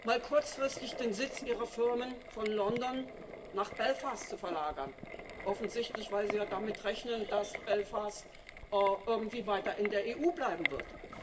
mal kurzfristig den Sitz ihrer Firmen von London nach Belfast zu verlagern offensichtlich weil sie ja damit rechnen, dass Belfast irgendwie weiter in der EU bleiben wird.